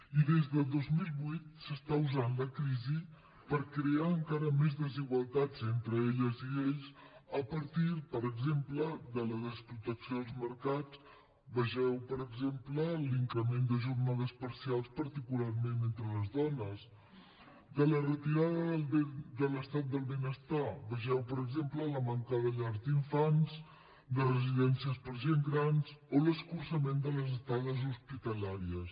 i des de dos mil vuit s’està usant la crisi per crear encara més desigualtats entre elles i ells a partir per exemple de la desprotecció dels mercats vegeu per exemple l’increment de jornades parcials particularment entre les dones o de la retirada de l’estat del benestar vegeu per exemple la manca de llars d’infants de residències per a gent gran o l’escurçament de les estades hospitalàries